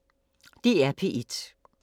DR P1